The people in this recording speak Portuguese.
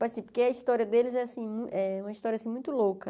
Assim porque a história deles é assim eh uma história assim muito louca.